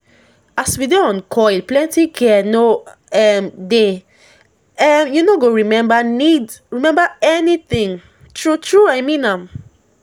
as we dey on coil plenty care no um dey um u no go remember need remember anything. true true i mean am